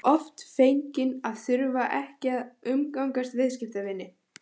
Hann var oft feginn að þurfa ekki að umgangast viðskiptavinina.